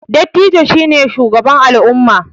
Dattijo shi ne shugaba al'umma